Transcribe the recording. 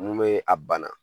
Mun be a bana.